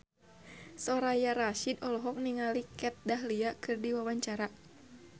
Soraya Rasyid olohok ningali Kat Dahlia keur diwawancara